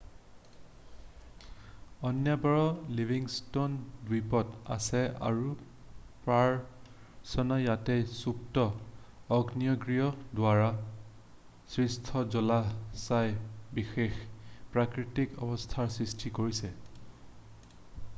অন্যবোৰ Livingston দ্বীপত আছে আৰু প্ৰৱঞ্চনা য'ত সুপ্ত আগ্নেয়গিৰিৰ দ্বাৰা সৃষ্ট জলাশয়ে বিশেষ প্ৰাকৃতিক অৱস্থাৰ সৃষ্টি কৰিছে